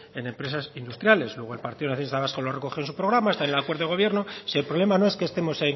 en empresas industriales luego el partido nacionalista vasco lo recogió en su programa está en el acuerdo de gobierno si el problema no es que estemos